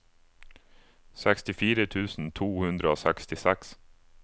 sekstifire tusen to hundre og sekstiseks